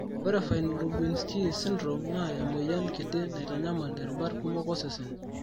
Ore Fine Lubinsky syndrome naa emoyian kiti naitanyamal irubat kumok osesen.